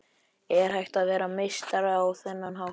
Er hægt að vera meistari á þennan hátt?